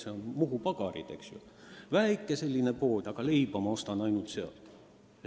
See on Muhu Pagarite väike pood ja leiba ma ostan ainult sealt.